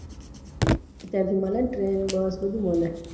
ત્યાંથી મળે ને trainbus બધું મળે